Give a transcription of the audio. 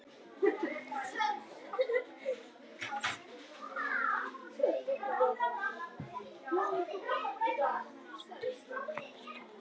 Þorpsbúar komu þeim slösuðust til aðstoðar